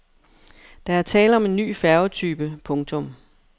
Der er tale om en ny færgetype. punktum